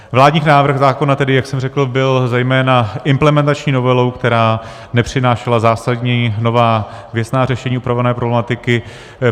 Vládní návrh zákona, tedy jak jsem řekl, byl zejména implementační novelou, která nepřinášela zásadní, nová, věcná řešení upravované problematiky.